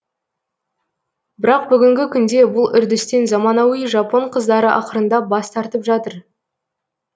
бірақ бүгінгі күнде бұл үрдістен заманауи жапон қыздары ақырындап бас тартып жатыр